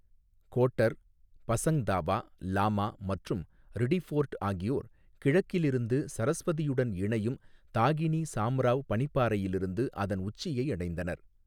Quarter, Pasang Dawa Lama மற்றும் Riddiford ஆகியோர் கிழக்கில் இருந்து சரஸ்வதியுடன் இணையும் தாகினி சாம்ராவ் பனிப்பாறையிலிருந்து அதன் உச்சியை அடைந்தனர்.